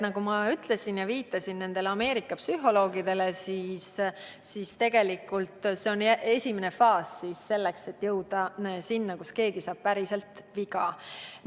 Nagu ma Ameerika psühholoogidele viidates ütlesin, on see tegelikult esimene faas selleks, et jõuda sinna, kus keegi saab päriselt viga.